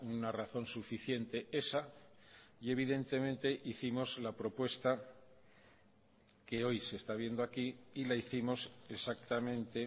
una razón suficiente esa y evidentemente hicimos la propuesta que hoy se está viendo aquí y la hicimos exactamente